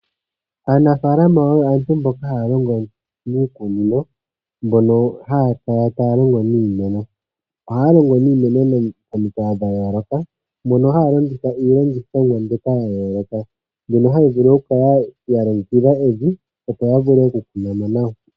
Aanafaalama oyo aantu mboka haya longo miikunino mbono haya kala taya longo niimeno. Ohaya longo niimeno momikalo dhayooloka, mono haya vulu oku kala ya longekidha evi opo ya vule oku kuna mo nawa.